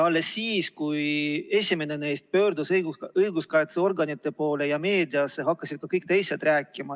Alles siis, kui esimene neist pöördus õiguskaitseorganite poole ja meediasse, hakkasid ka kõik teised rääkima.